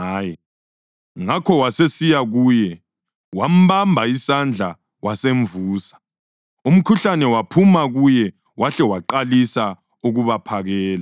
Ngakho wasesiya kuye, wambamba isandla wasemvusa. Umkhuhlane waphuma kuye, wahle waqalisa ukubaphakela.